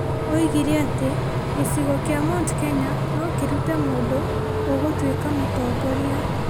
Oigire atĩ gĩcigo kĩa Mt Kenya no kĩrute mũndũ ũgũtuĩka mũtongoria ,